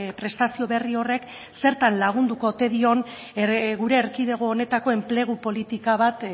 prestazio berri horrek zertan lagunduko ote dion gure erkidego honetako enplegu politika bat